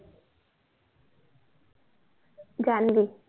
Janvi